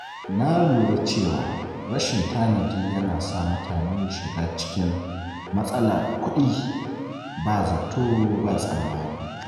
Na lura cewa rashin tanadi yana sa mutane shiga cikin matsalar kuɗi ba zato ba tsammani.